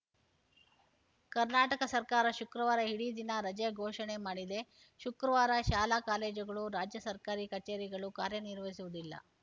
ಕರ್ನಾಟಕ ಸರ್ಕಾರ ಶುಕ್ರವಾರ ಇಡೀ ದಿನ ರಜೆ ಘೋಷಣೆ ಮಾಡಿದೆ ಶುಕ್ರವಾರ ಶಾಲಾಕಾಲೇಜುಗಳು ರಾಜ್ಯ ಸರ್ಕಾರಿ ಕಚೇರಿಗಳು ಕಾರ್ಯನಿರ್ವಹಿಸುವುದಿಲ್ಲ